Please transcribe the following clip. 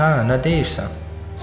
Hə, nə deyirsən?